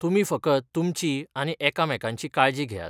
तुमी फकत तुमची आनी एकामेकांची काळजी घेयात.